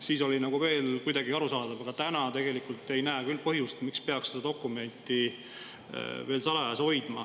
Siis oli see veel kuidagi arusaadav, aga täna ei näe ma küll põhjust, miks peaks seda dokumenti veel salajas hoidma.